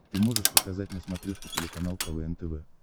ты можешь показать на смотрешке телеканал квн тв